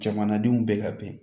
Jamanadenw bɛ ka bɛn